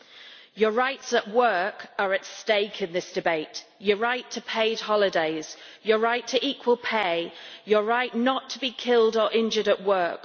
UK citizens, your rights at work are at stake in this debate your right to paid holidays, your right to equal pay and your right not to be killed or injured at work.